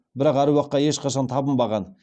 бірақ әруаққа ешқашан табынбаған